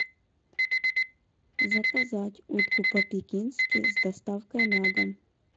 заказать утку по пекински с доставкой на дом